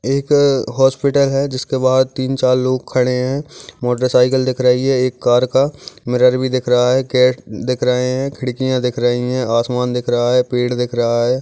एक अं- हॉस्पिटल है जिसके पास तीन चार लोग खड़े है मोटरसाइकिल दिख रही है एक कार का मिरर भी दिख रहा है गेट्स दिख रहे है खिड़कियाँ दिख रही है आसमान दिख रहा है पेड़ दिख रहा है।